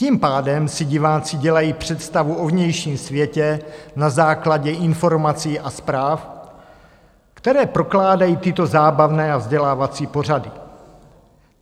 Tím pádem si diváci dělají představu o vnějším světě na základě informací a zpráv, které prokládají tyto zábavné a vzdělávací pořady.